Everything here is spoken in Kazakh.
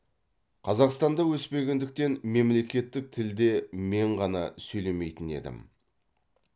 қазақстанда өспегендіктен мемлекеттік тілде мен ғана сөйлемейтін едім